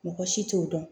Mɔgɔ si t'o dɔn